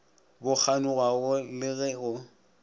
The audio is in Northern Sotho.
bo kganyogwago le ge go